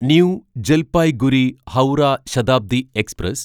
new Jalpaiguri Howrah Shatabdi express